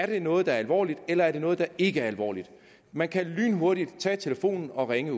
det er noget der er alvorligt eller om det er noget der ikke er alvorligt man kan lynhurtigt tage telefonen og ringe